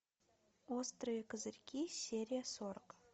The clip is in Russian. острые козырьки серия сорок